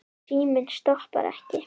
Síminn stoppar ekki.